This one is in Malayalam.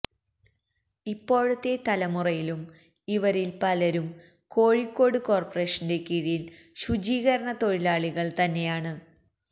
ഇപ്പോഴത്തെ തലമുറയിലും ഇവരില് പലരും കോഴിക്കോട് കോര്പ്പറേഷന്റെ കീഴില് ശുചീകരണ തൊഴിലാളികള് തന്നെയാണ്